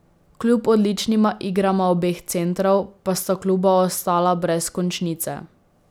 Kljub odličnima igrama obeh centrov, pa sta kluba ostala brez končnice.